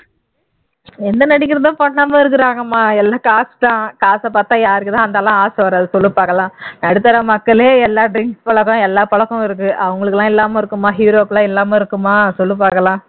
எந்த நடிகர் தான் பண்ணாம இருக்காங்கம்மா எல்லாம் காசு தான் காச பார்த்தா யாருக்கு தான் ஆசை வராது சொல்லு பாக்கலாம் நடுத்தர மக்களே எல்லா drinks பழக்கம் எல்லா பழக்கம் இருக்கு அவங்களுக்கு எல்லாம் இல்லாம இருக்குமா hero வுக்கெல்லாம் இல்லாம இருக்குமா சொல்லு பாக்கலாம்